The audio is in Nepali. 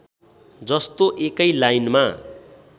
जस्तो एकै लाइनमा